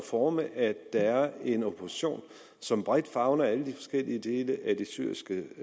forme at der er en opposition som bredt favner alle de forskellige dele af det syriske